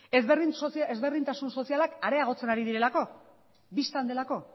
ezberdintasun sozialak areagotzen ari direlako bistan delako